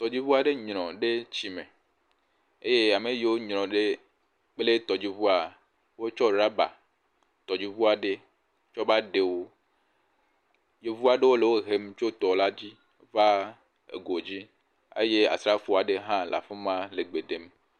Tɔdziŋu aɖe nyrɔ ɖe tsi me eye ame yiwo nyrɔ ɖe kple tɔdziŋua wotsƒ ɖɔba tɔdziŋu aɖe kɔ va ɖewo. Yevu aɖewo le wo hem tso tɔ la dzi va ego dzi eye asrafo aɖe hã le afi ma le gbe ɖem.